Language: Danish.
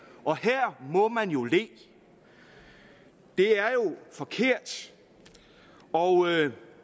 og her må man jo le det er jo forkert og